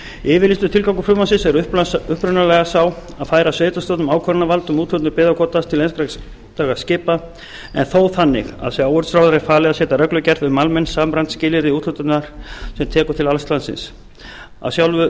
yfirlýstur tilgangur frumvarpsins er upprunalega sá að færa sveitarstjórnum ákvörðunarvald um úthlutun byggðakvótans til einstakra skipa en þó þannig að sjávarútvegsráðherra er falið að setja reglugerð um almenn samræmd skilyrði úthlutunar sem tekur til alls landsins af sjálfu